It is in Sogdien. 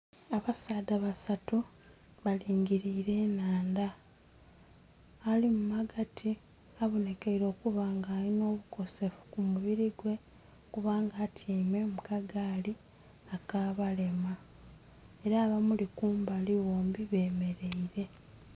Abasaadha basatu balingilire enhandha ali ghagati obonhekeire okuba nga alina obukosefu ku mubiri gwe kubanga atyaime mu kagaali aka balema, era abamuli kumbali bombi bemereire.